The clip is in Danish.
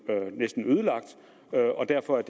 ødelagt og derfor er